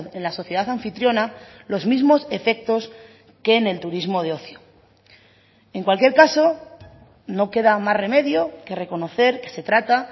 en la sociedad anfitriona los mismos efectos que en el turismo de ocio en cualquier caso no queda más remedio que reconocer que se trata